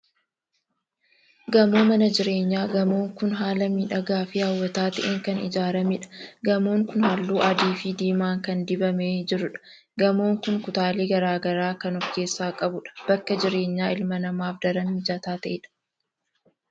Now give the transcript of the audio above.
Gamoo mana jireenyaa. Gamoon kun haala miidhagaa fi hawwataa ta'een kan ijaaramedha. Gamoon kun halluu adii fi diimaan kan dibamee jirudha. Gamoon kun kutaalee garaa garaa kan ofkeessaa qabudha. Bakka jireenya ilma namaaf daran mijataa ta'edha.